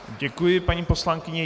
Děkuji, paní poslankyně.